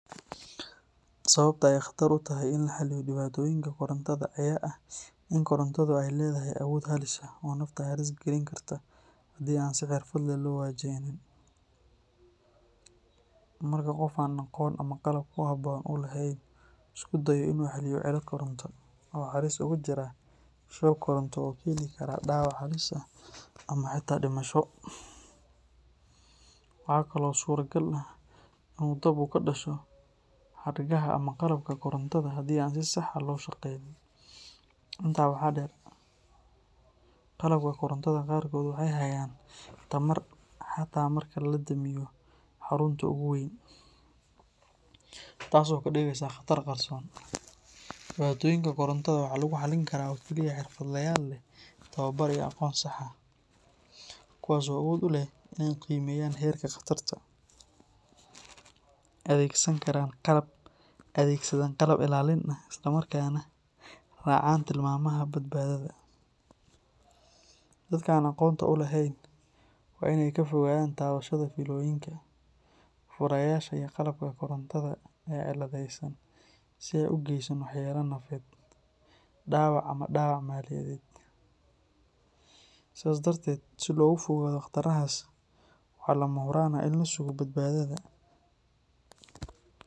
Sababta ay khatar u tahay in la xalliyo dhibaatooyinka korontada ayaa ah in korontadu ay leedahay awood halis ah oo nafta halis galin karta haddii aan si xirfad leh loo wajahinin. Marka qof aan aqoon ama qalab ku habboon u lahayn uu isku dayo in uu xalliyo cilad koronto, wuxuu halis ugu jiraa shoog koronto oo keeni kara dhaawac halis ah ama xitaa dhimasho. Waxaa kale oo suuragal ah in dab uu ka dhasho xadhkaha ama qalabka korontada haddii aan si sax ah loo shaqeynin. Intaa waxaa dheer, qalabka korontada qaarkood waxay hayaan tamar xataa marka laga damiyo xarunta ugu weyn, taas oo ka dhigaysa khatar qarsoon. Dhibaatooyinka korontada waxaa lagu xallin karaa oo keliya xirfadlayaal leh tababar iyo aqoon sax ah, kuwaas oo awood u leh in ay qiimeeyaan heerka khatarta, adeegsadaan qalab ilaalin ah, isla markaana raacaan tilmaamaha badbaadada. Dadka aan aqoonta u lahayn waa in ay ka fogaadaan taabashada fiilooyinka, furayaasha iyo qalabka korontada ee ciladaysan si aysan u geysan waxyeello nafeed, dhaawac ama dhaawac maaliyadeed. Sidaas darteed, si looga fogaado khatarahaas, waxaa lama huraan ah in la sugo badbaadada .